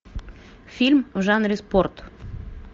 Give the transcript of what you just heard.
фильм в жанре спорт